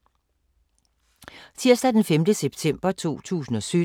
Tirsdag d. 5. september 2017